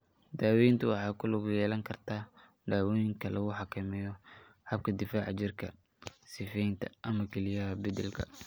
Daaweyntu waxay ku lug yeelan kartaa dawooyinka lagu xakameeyo habka difaaca jirka, sifeynta, ama kelyaha beddelka.